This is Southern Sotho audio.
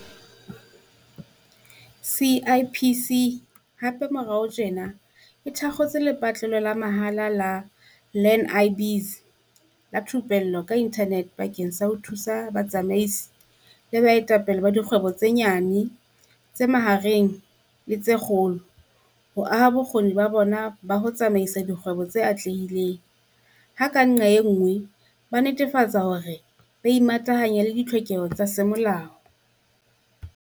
CIPC hape moraorao tjena e thakgotse lepatlelo la mahala la Learn-i-Biz la thupello ka inthanete bakeng sa ho thusa batsamaisi le baetapele ba dikgwebo tse nyane, tse mahareng le tse kgolo ho aha bokgoni ba bona ba ho tsamaisa dikgwebo tse atlehileng, ha ka nqa e nngwe ba netefatsa hore ba imatahanya le ditlhokeho tsa semolao.